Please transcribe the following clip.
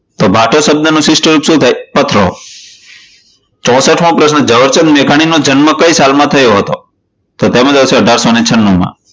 તો ભાટો શબ્દનું શિષ્ટ રૂપ શું થાય? પથરો. ચોસાઠમો પ્રશ્નો ઝવેરચંદ મેઘાણી નો જન્મ કઈ સાલ માં થયો હતો? તો તેનો જવાબ આવશે અઢારસો છનું માં.